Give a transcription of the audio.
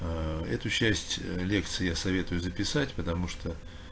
аа эту счастье лекций я советую записать потому что